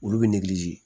Olu bɛ